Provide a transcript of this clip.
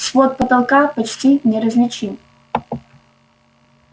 свод потолка почти неразличим